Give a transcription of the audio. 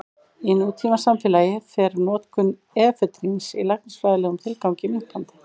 Í nútímasamfélagi fer notkun efedríns í læknisfræðilegum tilgangi minnkandi.